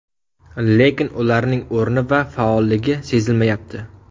Lekin ularning o‘rni va faolligi sezilmayapti.